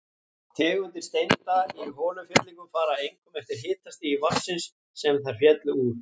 Tegundir steinda í holufyllingum fara einkum eftir hitastigi vatnsins, sem þær féllu út úr.